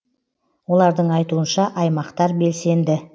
олардың айтуынша аймақтар белсенді